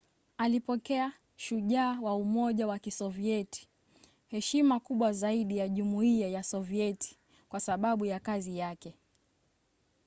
alipokea ‘shujaa wa umoja wa kisovieti’ heshima kubwa zaidi ya jumuiya ya sovieti kwa sababu ya kazi yake